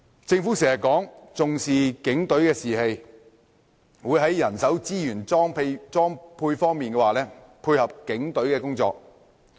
政府時常說重視警隊士氣，會在人手資源裝備方面配合警隊工作。